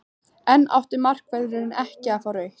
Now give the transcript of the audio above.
En átti markvörðurinn ekki að fá rautt?